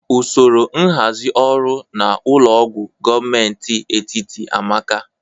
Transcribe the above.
Usoro nhazi ọrụ na ụlọ ọgwọ gomenti etiti amaka